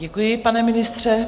Děkuji, pane ministře.